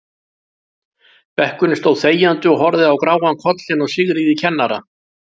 Bekkurinn stóð þegjandi og horfði á gráan kollinn á Sigríði kennara.